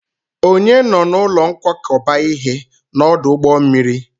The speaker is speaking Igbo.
Ònye nọ n'ụlọ nkwakọba ihe n'ọdụ ụgbọ mmiri?